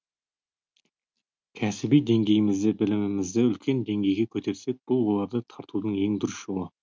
кәсіби деңгейімізді білімімізді үлкен деңгейге көтерсек бұл оларды тартудың ең дұрыс жолы